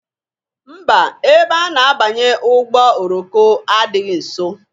Mba! Ebe a na-abanye ụgbọ oroko adịghị nso.